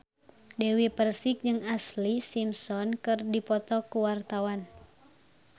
Dewi Persik jeung Ashlee Simpson keur dipoto ku wartawan